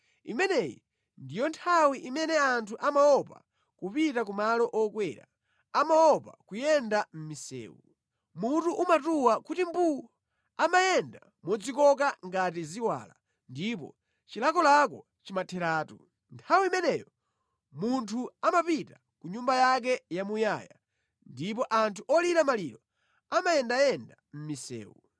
Imeneyi ndiyo nthawi imene anthu amaopa kupita kumalo okwera, amaopa kuyenda mʼmisewu; Mutu umatuwa kuti mbuu, amayenda modzikoka ngati ziwala ndipo chilakolako chimatheratu. Nthawi imeneyo munthu amapita ku nyumba yake yamuyaya ndipo anthu olira maliro amayendayenda mʼmisewu.